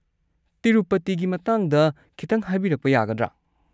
ꯇꯤꯔꯨꯄꯇꯤꯒꯤ ꯃꯇꯥꯡꯗ ꯈꯤꯇꯪ ꯍꯥꯏꯕꯤꯔꯛꯄ ꯌꯥꯒꯗ꯭ꯔꯥ?